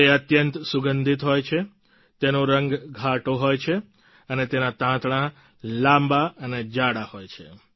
તે અત્યંત સુગંધિત હોય છે તેનો રંગ ઘાટો હોય છે અને તેના તાંતણા લાંબા અને જાડા હોય છે